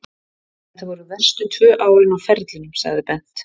Þetta voru verstu tvö árin á ferlinum, sagði Bent.